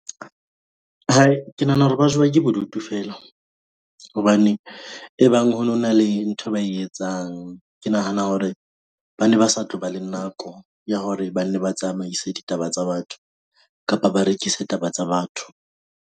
Hai, ke nahana hore ba jowa ke bodutu feela, hobane e bang ho no na le nthwe ba e etsang. Ke nahana hore ba ne ba sa tlo ba le nako ya hore ba nne ba tsamaise ditaba tsa batho kapa ba rekise taba tsa batho.